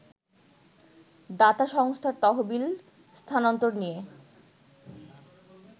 দাতা সংস্থার তহবিল স্থানান্তর নিয়ে